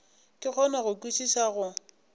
ke kgone go kwešiša go